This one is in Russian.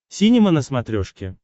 синема на смотрешке